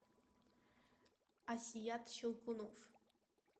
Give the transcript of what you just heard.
асият щелкунов